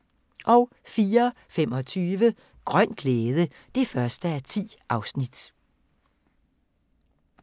04:25: Grøn glæde (1:10)